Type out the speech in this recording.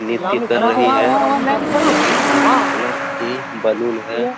नित्तय कर रही है जो कि तीन कलर की बलून है।